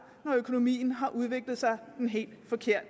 når økonomien har udviklet sig den helt forkerte